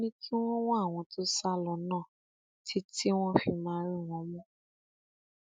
ó ní kí wọn wá àwọn tó sá lọ náà títí wọn fi máa rí wọn mú